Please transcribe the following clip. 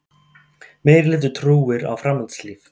Meirihluti trúir á framhaldslíf